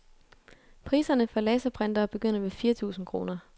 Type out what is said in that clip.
Priserne for laserprintere begynder ved fire tusind kroner.